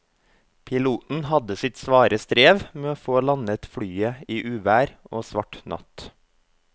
Piloten hadde sitt svare strev med å få landet flyet i uvær og svart natt.